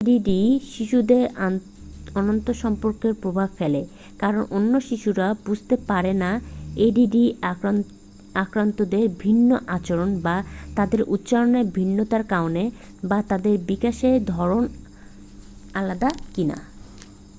ADD শিশুদের আন্তসম্পর্কে প্রভাব ফেলে কারণ অন্য শিশুরা বুঝতে পারে না এডিডি আক্রান্তদের ভিন্ন আচরণ বা তাদের উচ্চারণের ভিন্নতার কারণ বা তাদের বিকাশের ধরণ আলাদা কিনা